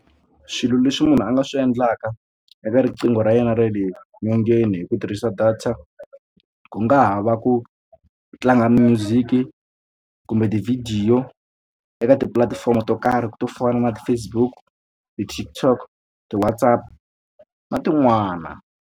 Swilo leswi munhu a nga swi endlaka eka riqingho ra yena ra le nyongeni hi ku tirhisa data ku nga ha va ku tlanga music kumbe tivhidiyo eka tipulatifomo to karhi to fana na ti-Facebook ti-TikTok ti-WhatsApp na tin'wana.